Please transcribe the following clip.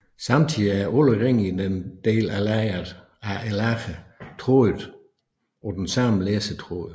Samtidig er alle ringe i en del af lageret trådet på den samme læsetråd